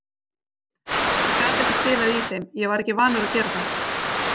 Ég gat ekki spilað í þeim, ég var ekki vanur að gera það.